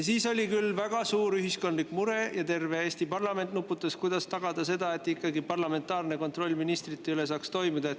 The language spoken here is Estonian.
Siis oli küll väga suur ühiskondlik mure ja terve Eesti parlament nuputas, kuidas tagada seda, et parlamentaarne kontroll ministrite üle saaks toimida.